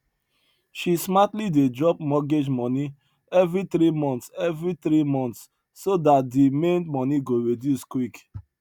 she smartly dey drop mortgage money every three months every three months so dat di main money go reduce quick